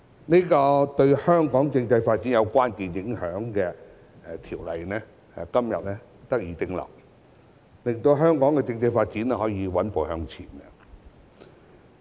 此項對香港政制發展有關鍵影響的條例草案在今天得以通過，令到香港的政制發展可以穩步向前。